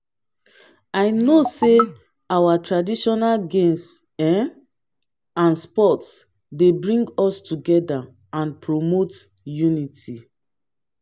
i know say our traditional games um and sports dey bring us together and promote unity